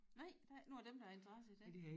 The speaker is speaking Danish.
Nej der er ikke nogen af dem der har interesse i det